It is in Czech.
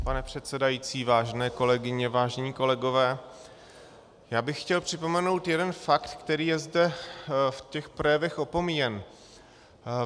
Pane předsedající, vážené kolegyně, vážení kolegové, já bych chtěl připomenout jeden fakt, který je zde v těch projevech opomíjen.